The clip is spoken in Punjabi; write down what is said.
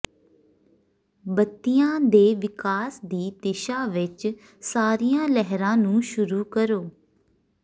ਬੱਤੀਆਂ ਦੇ ਵਿਕਾਸ ਦੀ ਦਿਸ਼ਾ ਵਿੱਚ ਸਾਰੀਆਂ ਲਹਿਰਾਂ ਨੂੰ ਸ਼ੁਰੂ ਕਰੋ